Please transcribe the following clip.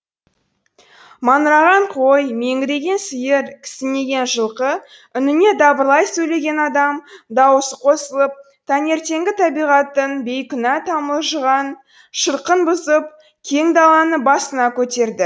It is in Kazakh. маңыраған қой меңіреген сиыр кісінеген жылқы үніне дабырлай сөйлеген адам даусы қосылып таңертеңгі табиғаттың бейкүнә тамылжыған шырқын бұзып кең даланы басына көтерді